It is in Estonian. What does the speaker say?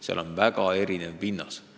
Seal on väga erinev pinnas.